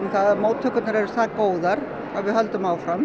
að móttökurnar eru það góðar að við höldum áfram